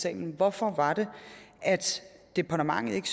salen hvorfor var det at departementet ikke